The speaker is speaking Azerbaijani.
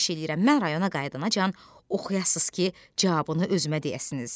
Xahiş eləyirəm, mən rayona qayıdanaacan oxuyasız ki, cavabını özümə deyəsiniz.